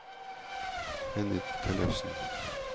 Henny Tellefsen